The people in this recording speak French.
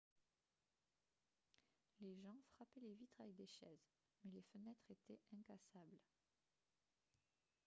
les gens frappaient les vitres avec des chaises mais les fenêtres étaient incassables